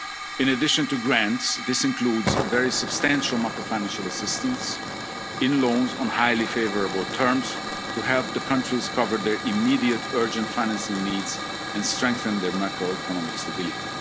19 pandemic. In addition to grants, this includes very substantial macrofinancial assistance in loans on highly favourable terms to help the countries cover their immediate urgent financing needs and strengthen their macroeconomic